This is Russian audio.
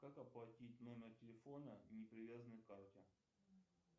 как оплатить номер телефона не привязанной к карте